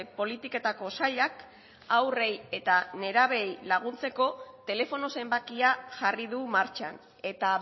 politiketako sailak haurrei eta nerabeei laguntzeko telefono zenbakia jarri du martxan eta